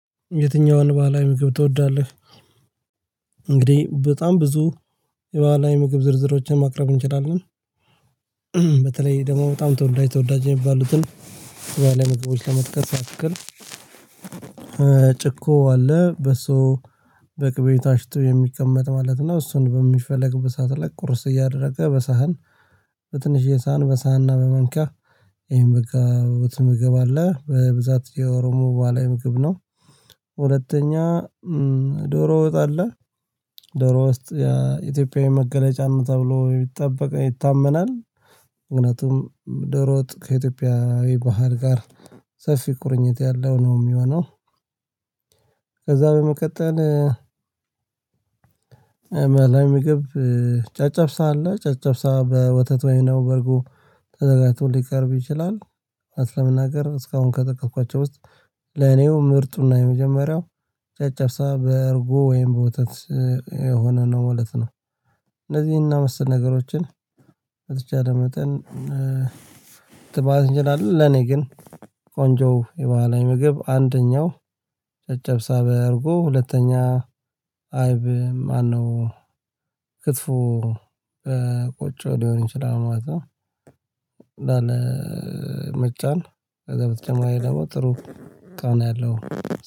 የትኛውን ባህላዊ ምግብ ትወዳለህ? እንግዲህ በጣም ብዙ የባህላዊ ምግብ ዝርዝሮችን ማቅረብ እንችላለን። በተለይ ደግሞ በጣም ተወዳጅ ተወዳጅ የሚባሉትን በዚህ መጽሐፎች ለመትከል ያክል ጭኮ አለ በሶ በቅቤ ታሽቶ የሚቀመጥ ማለት ነው። እሱን በሚፈለግበት ሰዓት ላይ ቁርስ እያደረገ በሳህን በትንሽ ሳህን በሳህንና በማንኪያ ይሄን በቃ ውስጥ ምግብ አለ በብዛት የኦሮሞ ባህላዊ ምግብ ነው። ሁለተኛ ዶሮ ወጥ አለ። ዶሮ ውስጥ የኢትዮጵያዊ መገለጫ ነው ተብሎ ይጠበቃል ይታመናል። ምክንያቱም ደሮ ወጥ ከኢትዮጵያዊ ባህል ጋር ሰፊ ቁርኝት ያለው ነው የሚሆነው። ከዛ በመቀጠል ላይ ምግብ ጨጨብሳ አለ ጨጨብሳ በወተት ወይም ደግሞ በእርጎ ተዘጋጅቶ ሊቀርብ ይችላል። እውነት ለመናገር እስካሁን ከተጠቀምኳቸው ውስጥ ለእኔው ምርጡና የመጀመሪያው ጨጨብሳ በእርጉ ወይም በወተት የሆነ ነው ማለት ነው። እነዚህ እና መሰል ነገሮችን በተቻለ መጠን ትባል እንችላለን። ለኔ ግን ቆንጆ የባህላዊ ምግብ አንደኛው ጨጨብጫ በእርጎ ሁለተኛ አይብ ማነው ክትፎ በቆጮ ሊሆን ይችላል ማለት ነው። መጫን ከዛ በተጨማሪ ደግሞ ጥሩ ቃና ያለው